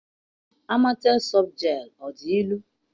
Amatel softgel ọ dị ilu?